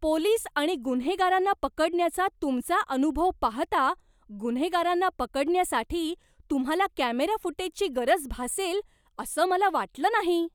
Police आणि गुन्हेगारांना पकडण्याचा तुमचा अनुभव पाहता, गुन्हेगारांना पकडण्यासाठी तुम्हाला कॅमेरा फुटेजची गरज भासेल असं मला वाटलं नाही.